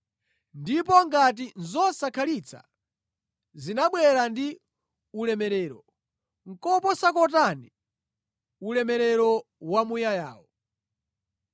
Ndipo ngati zosakhalitsa zinabwera ndi ulemerero, koposa kotani ulemerero wamuyayawo!